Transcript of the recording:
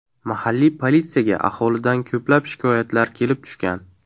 Mahalliy politsiyaga aholidan ko‘plab shikoyatlar kelib tushgan.